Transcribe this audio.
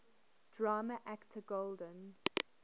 drama actor golden